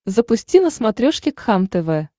запусти на смотрешке кхлм тв